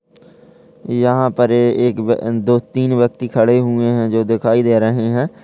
यहाँ पर ए एक व्य दो तीन व्यक्ति खड़े हुए है जो दिखाई दे रहे है।